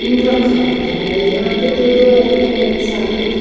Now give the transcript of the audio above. ऊं रखा जाता है यहां पे तो दो एरोप्लेनस आपको दिख--